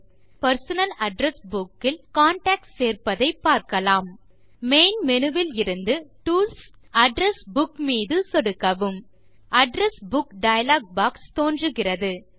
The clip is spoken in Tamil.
இப்போது பெர்சனல் அட்ரெஸ் புக் இல் கான்டாக்ட்ஸ் சேர்ப்பதை காணலாம் மெயின் மேனு விலிருந்து டூல்ஸ் மற்றும் அட்ரெஸ் புக் மீது சொடுக்கவும் அட்ரெஸ் புக் டயலாக் பாக்ஸ் தோன்றுகிறது